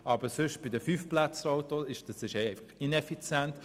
Aber bei den Fünfplätzer-Autos ist es einfach ineffizient.